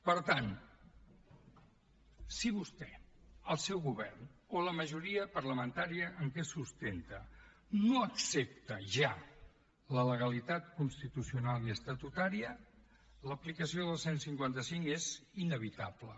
per tant si vostè el seu govern o la majoria parlamentària en què es sustenta no accepta ja la legalitat constitucional i estatutària l’aplicació del cent i cinquanta cinc és inevitable